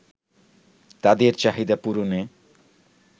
তাদের চাহিদা পূরণে